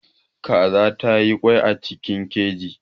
Kaza ta yi ƙwai a cikin keji.